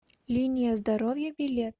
линия здоровья билет